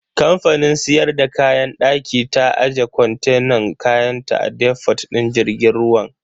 Kamfanin siyar da kayan daki ta aje kontenan kayanta a defot din jirgin ruwan.